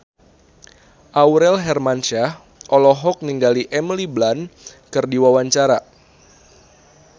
Aurel Hermansyah olohok ningali Emily Blunt keur diwawancara